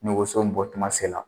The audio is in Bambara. Ni woso bɔtuma sela